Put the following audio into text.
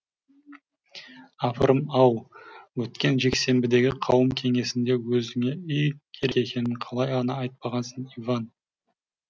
апырым ау өткен жексенбідегі қауым кеңесінде өзіңе үй керек екенін қалай ғана айтпағансың иван